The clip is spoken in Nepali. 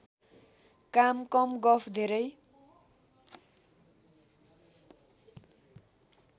काम कम गफ धेरै